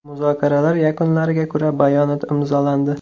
Muzokaralar yakunlariga ko‘ra bayonot imzolandi.